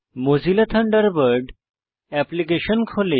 Mozilla Thunderbird application খোলে